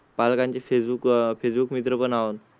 पालकांची Facebook, Facebook मित्र पण आहेत.